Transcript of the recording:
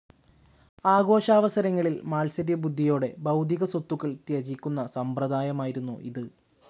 ആഘോഷാവസരങ്ങളിൽ മാത്സര്യബുദ്ധിയോടേ ഭൗതികസ്വത്തുക്കൾ ത്യജിക്കുന്ന സമ്പ്രദായമായിരുന്നു ഇത്.